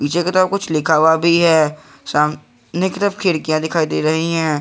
ज्यादा कुछ लिखा हुआ भी है सामने की तरफ खिड़कियां दिखाई दे रही हैं।